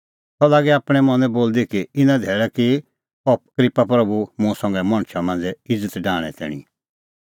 सह लागी आपणैं मनैं बोलदी कि इना धैल़ै की अह क्रिप्पा प्रभू मुंह संघै मणछा मांझ़ै इज़त डाहणें तैणीं